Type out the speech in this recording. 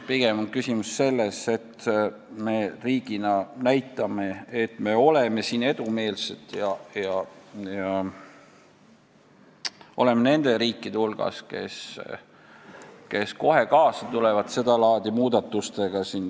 Pigem me näitame, et me oleme siin edumeelsed ja nende riikide hulgas, kes sedalaadi muudatustega kohe kaasa tulevad.